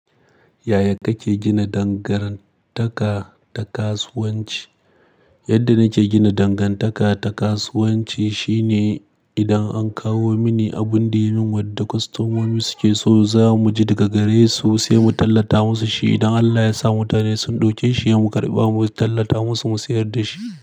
Yaya kake gina dangantaka ta kasuwanci? Yadda nake gina dangantaka ta kasuwanci shine idan an kawo mini abun da yin wadda kwastamomi suke so za mu je daga gare su sai mu tallata musu shi. Idan Allah ya sa mutane sun ɗauke shi, mu karɓa mu tallata musu mu sayar da shi.